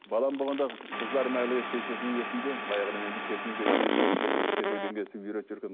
балам болғанда қыздарым әлі шешесінің несінде баяғыда мен келген кезде шешесі кішкентай үйретіп жүрген